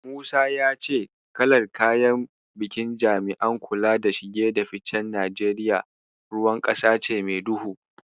Musa ya ce kalar kayan bikin jami'an kula da shige da ficen Najeriya ruwan ƙasa ce mai duhu.